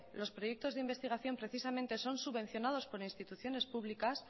los proyectos de investigación precisamente son subvenciones por instituciones públicas